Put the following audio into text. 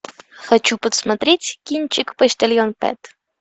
хочу посмотреть кинчик почтальон пэт